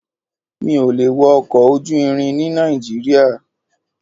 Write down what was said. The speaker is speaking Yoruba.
Mi ò lè wọ ọkọ̀ ojú irin ní Nàìjíríà.